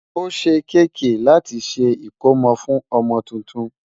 ọ̀sè kk láti ṣé ikòmó fún ọmọ túntùn